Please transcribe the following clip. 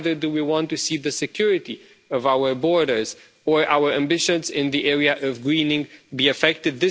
Neither do we want to see the security of our borders or our ambitions in the area of greening be affected.